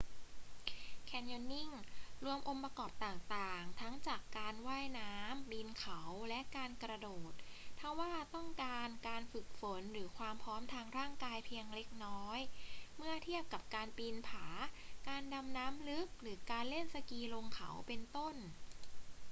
แคนยอนนิ่ง รวมองค์ประกอบต่างๆ ทั้งจากการว่ายน้ำ ปีนเขา และการกระโดด ทว่าต้องการการฝึกฝนหรือความพร้อมทางร่างกายเพียงเล็กน้อย เมื่อเทียบกับการปีนผา การดำน้ำลึก หรือการเล่นสกีลงเขา เป็นต้น